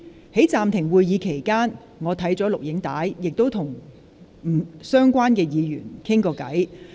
在暫停會議期間，我已翻看有關錄影片段，亦曾與相關議員傾談。